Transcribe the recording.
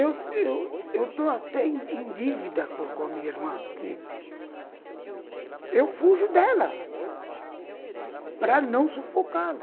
Eu eu eu estou até em dívida com a minha irmã, porque... eu fujo dela para não sufocá-la.